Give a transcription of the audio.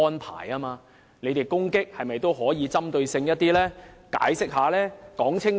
他們作出的批評可否更具針對性，解釋得更清楚呢？